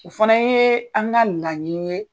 O fana ye an ka laɲiniw ye.